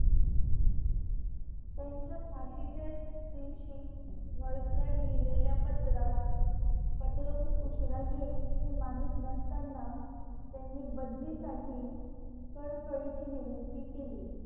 त्यांच्या फाशीचे दिवशी व्हॉइस रॉय लिहलेल्या पात्रात पत्र खूप उशिरा येईल हे माहित नसतांना त्यांनी बदलीसाठी कळकळीची विनंती केली